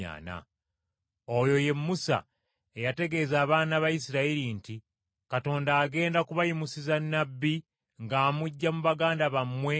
“Oyo ye Musa eyategeeza abaana ba Isirayiri nti, ‘Katonda agenda kubayimusiza Nnabbi ng’amuggya mu baganda bammwe nga nze.’